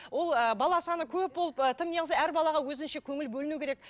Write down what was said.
ол ыыы бала саны көп болып ы тым неғылса әр балаға өзінше көңіл бөліну керек